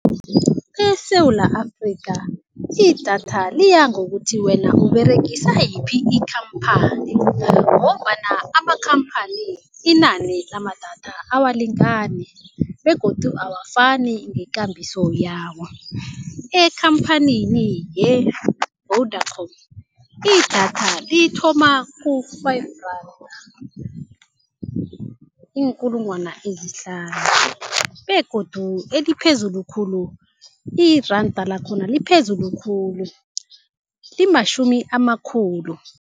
ESewula Afrika idatha liyangokuthi wena uberegisa yiphi ikhamphani ngombana amakhamphani inani lamadatha awalingani begodu awafani ngekambiso yawo. Ekhamphanini ye-Vodacom idatha lithoma ku-five randa iinkulungwana ezihlanu begodu eliphezulu khulu iranda lakhona liphezulu khulu limashumi amakhulu.